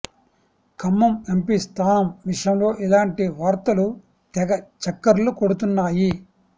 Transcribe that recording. Khammam MP స్థానం విషయంలో ఇలాంటి వార్తలు తెగ చక్కర్లు కొడుతున్నాయి